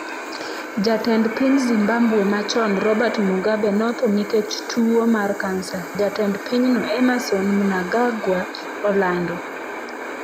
Jatend piny Zimbabwe machon Robert Mugabe notho nikech tuwo mar kansa, Jatend pinyno Emmerson Mnangagwa olando